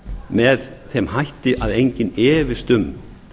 með þeim hætti að enginn efist um